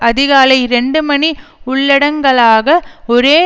அதிகாலை இரண்டு மணி உள்ளடங்கலாக ஒரே